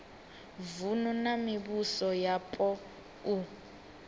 vunu na mivhuso yapo u